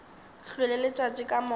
hlwele letšatši ka moka ba